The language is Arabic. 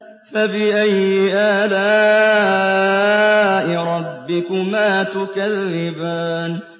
فَبِأَيِّ آلَاءِ رَبِّكُمَا تُكَذِّبَانِ